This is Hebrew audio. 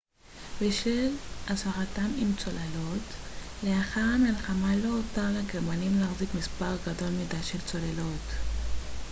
בשל הצלחתם עם צוללות לאחר המלחמה לא הותר לגרמנים להחזיק מספר גדול מדי של צוללות